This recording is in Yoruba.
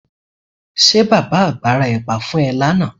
Ṣé bàbá àgbà ra ẹ̀pà fún ẹ lánàá?